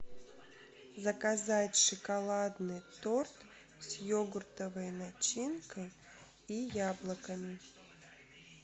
заказать шоколадный торт с йогуртовой начинкой и яблоками